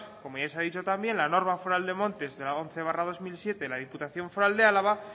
como ya se ha dicho también la norma foral de montes la once barra dos mil siete de la diputación foral de álava